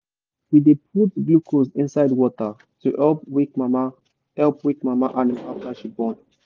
we dey put glucose inside water to help weak mama help weak mama animal after she born.